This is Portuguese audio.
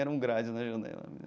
Eram grades na janela.